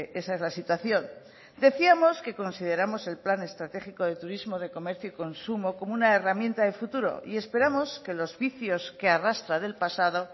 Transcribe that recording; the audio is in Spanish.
esa es la situación decíamos que consideramos el plan estratégico de turismo de comercio y consumo como una herramienta de futuro y esperamos que los vicios que arrastra del pasado